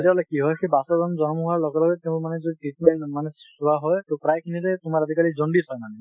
তেতিয়া হলে কি হয় , সেই বাচ্চা জন জন্ম হোৱাৰ লগে লগে তেওঁৰ মানে যদি treatment মানে চোৱা হয় , প্ৰায়খিনিৰে তোমাৰ আজিকালি জণ্ডিছ হয় মানে ।